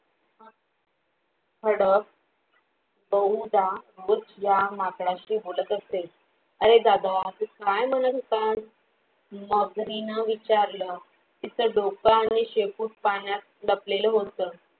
खडक बहुदा दुसऱ्या माकडाशी बोलत असेल अरे दादा तू काय म्हणत होता मगरीन विचारलं तीच डोकं आणि शेपूट पाण्यात लपलेलं होत